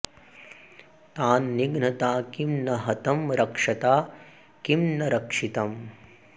तान्निघ्नता किं न हतं रक्षता किं न रक्षितम्